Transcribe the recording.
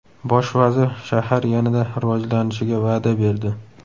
Bosh vazir shahar yanada rivojlanishiga va’da berdi.